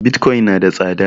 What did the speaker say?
Bitcoin na da tsada